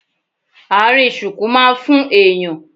Àárín ṣuku má ń fún èèyàn